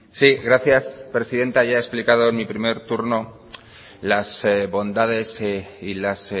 sí gracias presidenta ya he explicado en mí primer turno las bondades y las